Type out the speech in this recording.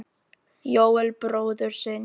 Jóel bróður sinn.